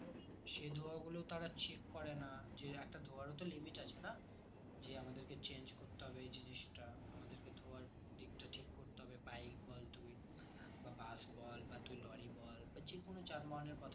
সে ধোঁয়াগুলো তারা check করে না যে একটা ধোঁয়ার ও তো limit আছে না যে আমাদের কে change করতে হবে এই জিনিসটা আমাদের কে ধোঁয়ার দিক তা ঠিক করতে হবে bike বল তুই বা bus বল বা লরি বল বা যেকোনো যানবাহন এর কথা